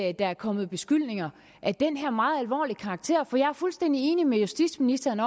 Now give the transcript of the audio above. er kommet beskyldninger af den her meget alvorlige karakter jeg er fuldstændig enig med justitsministeren